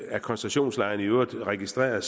af koncentrationslejrene i øvrigt registreret